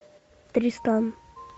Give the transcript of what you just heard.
тристан